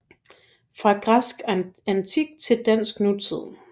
Fra græsk antik til dansk nutid